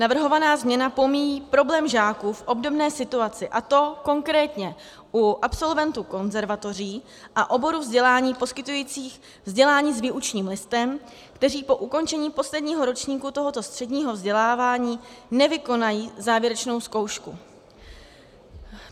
Navrhovaná změna pomíjí problém žáků v obdobné situaci, a to konkrétně u absolventů konzervatoří a oborů vzdělání poskytujících vzdělání s výučním listem, kteří po ukončení posledního ročníku tohoto středního vzdělávání nevykonají závěrečnou zkoušku.